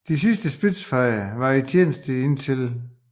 De sidste Spitfires var i tjeneste indtil 1